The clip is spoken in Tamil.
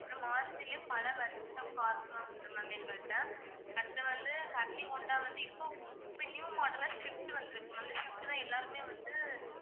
அப்பறம் மாருதிலயே பல varieties of cars லாம் உண்டு ma'am எங்ககிட்ட அடுத்து வந்து ஹோண்டா வந்து இப்போ இப்போ new model ஆ ஸ்விஃப்ட் வந்திருக்கு ma'am இந்த ஸ்விஃப்ட் தான் எல்லாருமே வந்து